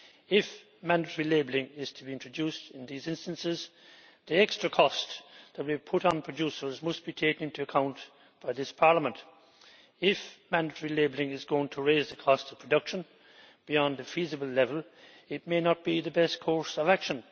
If mandatory labelling is to be introduced in these instances, the extra cost that would be put on producers must be taken into account by this Parliament. If mandatory labelling is going to raise the cost of production beyond a feasible level, it may not be the best course of action.